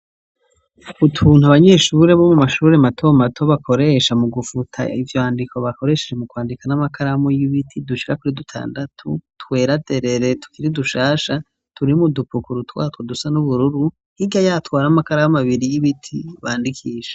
Utuntu abanyeshuri bo mu mashuri mato mato bakoresha mu gufuta ivyandiko bakoresheje mu kwandika n'amakaramu y'ibiti, dushika kuri dutandatu twera derere tukiri dushasha, turi mu dupukuru twatwo dusa n'ubururu, hirya yatwo hari amakaramu abiri y'ibiti bandikisha.